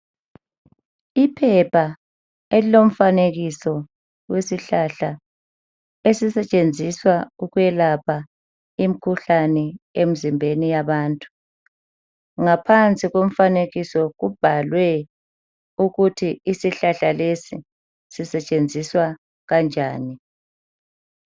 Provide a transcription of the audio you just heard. Iphepha elilomfanekiso wesihlahla esisetshenziswa ukwelapha imkhuhlane emizimbeni yabantu ngaphansi komfanekiso kubhalwe ukuthi isihlahla lesi sisetshenziswa kanjani.